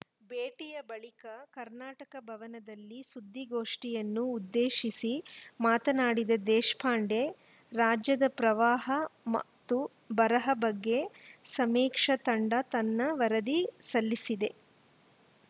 ಭೇಟಿಯ ಬಳಿಕ ಕರ್ನಾಟಕ ಭವನದಲ್ಲಿ ಸುದ್ದಿಗೋಷ್ಠಿಯನ್ನು ಉದ್ದೇಶಿಸಿ ಮಾತನಾಡಿದ ದೇಶಪಾಂಡೆ ರಾಜ್ಯದ ಪ್ರವಾಹ ಮ್ ಮತ್ತು ಬರದ ಬಗ್ಗೆ ಸಮೀಕ್ಷಾ ತಂಡ ತನ್ನ ವರದಿ ಸಲ್ಲಿಸಿದೆ